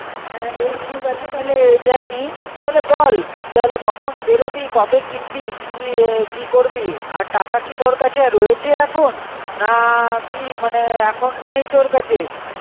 হ্যাঁ বেশ ঠিক আছে তাহলে এটাই নি. তাহলে বল তাহলে কখন বেরোবি কবে কিনবি কী কি করবি আর টাকা কী তোর কাচে রয়েছে এখন না কী মনে এখন নেই তোর কাচে